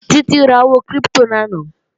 Títí ra owó kírípítò lánàá